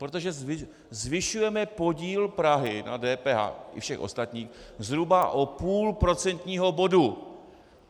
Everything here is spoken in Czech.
Protože zvyšujeme podíl Prahy na DPH i všech ostatních zhruba o půl procentního bodu.